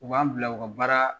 U b'an bila u ka baara